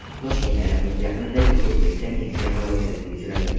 Toshkent aeroporti yaqinidagi ko‘prikda Nexia halokatga uchradi .